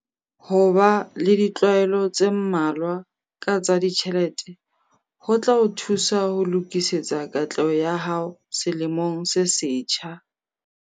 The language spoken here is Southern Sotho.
Ho ba le ditlwaelo tse mmalwa ka tsa ditjhelete ho tla o thusa ho lokisetsa katleho ya hao selemong se setjha.